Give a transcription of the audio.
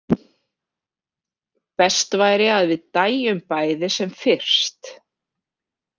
Best væri að við dæjum bæði sem fyrst.